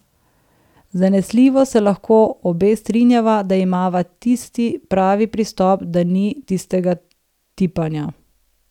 Zanesljivo se lahko obe strinjava, da imava tisti pravi pristop, da ni tistega tipanja.